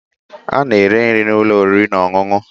A na-ere nri na ụlọ oriri na ọṅụṅụ.